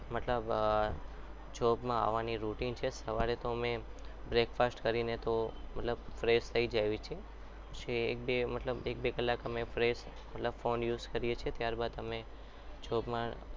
મતલબ job માં આવવાની rutine છે અમારી સવારે તો અમે break fast કરીને તો મતલબ fresh થઈ જઈએ છીએ એક-બે મતલબ એક બે કલાક અને fresh મતલબ phone use કરીએ છીએ ત્યારબાદ જોબમાં